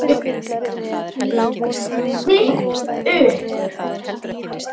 Stytt upp